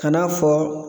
Ka n'a fɔ